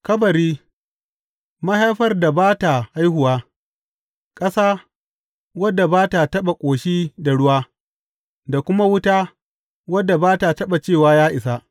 Kabari, mahaifar da ba ta haihuwa, ƙasa, wadda ba ta taɓa ƙoshi da ruwa, da kuma wuta, wadda ba ta taɓa cewa Ya isa!’